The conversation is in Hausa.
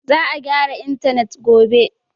Za a gyara intanet gobe.